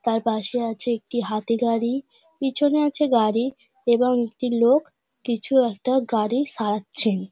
তার পাশে আছে একটি হাতিগাড়ি পিছনে আছে গাড়ি এবং একটি লোক কিছু একটা গাড়ি সারছেন।